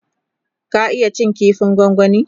ka iya cin kifin gwangwani?